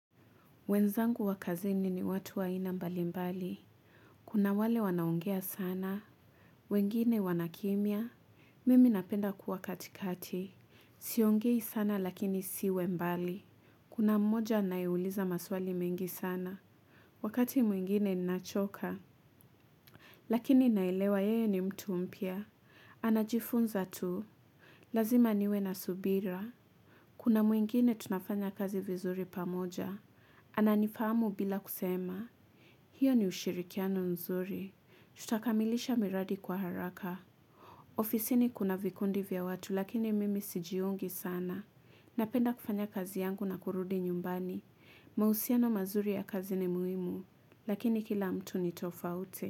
Wenzangu wakazini ni watu waina mbali mbali. Kuna wale wanaongea sana. Wengine wanakimia. Mimi napenda kuwa katikati. Siongei sana lakini siwe mbali. Kuna mmoja anaeuliza maswali mingi sana. Wakati mwingine ninachoka. Lakini nailewa yeye ni mtu umpia. Anajifunza tu. Lazima niwe na subira. Kuna mwingine tunafanya kazi vizuri pamoja. Ana nifamu bila kusema. Hiyo ni ushirikiano nzuri, tutakamilisha miradi kwa haraka. Ofisini kuna vikundi vya watu lakini mimi sijiungi sana. Napenda kufanya kazi yangu na kurudi nyumbani. Mahusiano mazuri ya kazi ni muimu, lakini kila mtu ni tofauti.